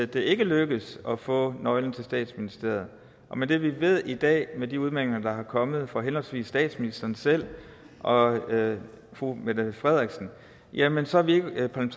det ikke lykkes at få nøglen til statsministeriet og med det vi ved i dag med de udmeldinger der er kommet fra henholdsvis statsministeren selv og fru mette frederiksen jamen så er vi hverken